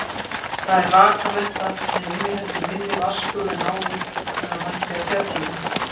Það er rakamettað, en inniheldur minni vatnsgufu en áður en það mætti fjallinu.